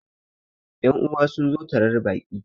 yan'uwa sun zo tarar Baki